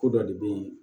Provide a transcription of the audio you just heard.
Ko dɔ de bɛ yen